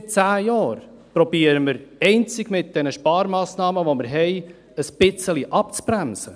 Seit zehn Jahren versuchen wir, einzig mit den Sparmassnahmen, die wir haben, ein bisschen abzubremsen!